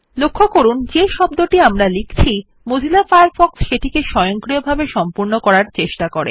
লক্ষ্য করুন Mozilla Firefox যে শব্দটি আমরা লিখছি সেটিকে স্বয়ংক্রিয়ভাবে সম্পূর্ণ করার প্রচেষ্টা করে